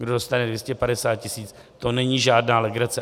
Kdo dostane 250 tisíc, to není žádná legrace.